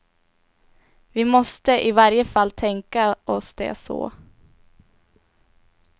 Vi måste i varje fall tänka oss det så.